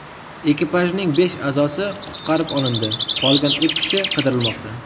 Ekipajning besh a’zosi qutqarib olindi, qolgan uch kishi qidirilmoqda.